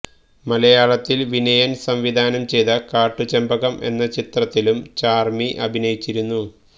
മലയാളത്തില് വിനയന് സംവിധാനം ചെയ്ത കാട്ടുചെമ്പകം എന്ന ചിത്രത്തിലും ചാര്മി അഭിനയിച്ചിരുന്നു